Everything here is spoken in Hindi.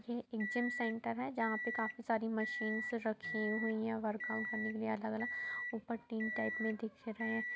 ये एक जिम सेंटर है जहाँ पे काफी सारी मसिनस रखी हुए है वर्कआउट करने के लिए अलग-अलग ऊपर टिन टाइप में दिख रहे हैं ।